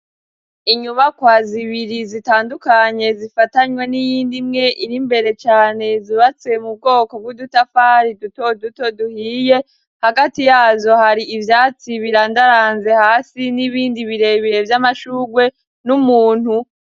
Inyubakwa zibiri zitandukanye zifatanye, n'iyindi mwe irimbere cane, zubatse mu bwoko bw'udutafari duto duto duhiye, hagati yazo hari ivyatsi birandaranze hasi, n'ibindi birebire vy'amashurwe n'umuntu.